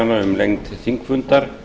um lengd þingfundar